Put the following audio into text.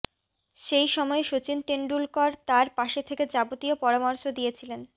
সেই সময় সচিন তেন্ডুলকর তার পাশে থেকে যাবতীয় পরামর্শ দিয়েছিলেন